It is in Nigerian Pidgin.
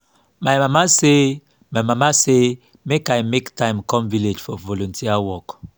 my mama say mama say make i make time come village for volunteer work